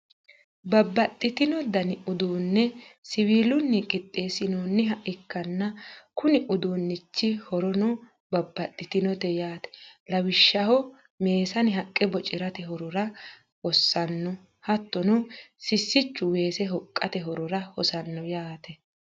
babbaxino dani uduunne siwiilunni qixxeesinoonniha ikkanna konni uduunichi horono babbaxitinote yaate, lawishshaho meesane haqqe bocirate horora hossanno, hattono sissichu weese hoqqate horora hosanno yaate.